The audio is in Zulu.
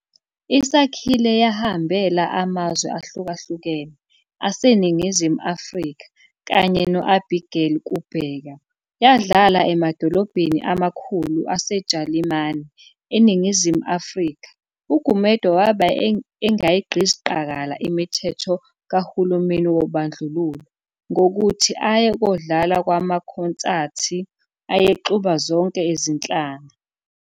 ISakhile yahambela amazwe ahlukahlukene aseNingizimu Afrika kanye no Abigail Kubheka, yadlala emadolobheni amakhulu aseJalimani. ENingizimu Afrika uGumede wabe engayigqizi qakala imithetho kahulumeni wobandlululo, ngokuthi aye kodlala kwamakhonsathi ayexuba zonke izinhlanga.